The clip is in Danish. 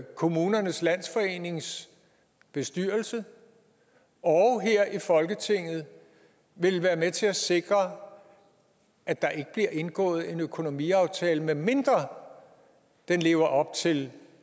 kommunernes landsforenings bestyrelse og her i folketinget vil være med til at sikre at der ikke bliver indgået en økonomiaftale medmindre den lever op til